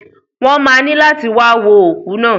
Wọn má ni lati wa wo oku naa.